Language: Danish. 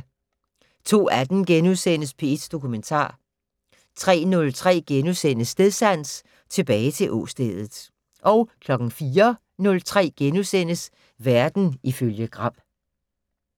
02:18: P1 Dokumentar * 03:03: Stedsans: Tilbage til åstedet * 04:03: Verden ifølge Gram *